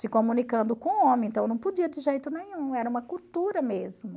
Se comunicando com homem, então não podia de jeito nenhum, era uma cultura mesmo.